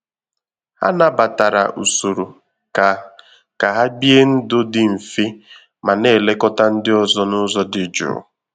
Ha nabatara usoro ka ka hà bie ndụ dị mfe ma na-elekọta ndị ọzọ n’ụzọ dị jụụ